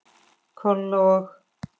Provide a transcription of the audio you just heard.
Kolla og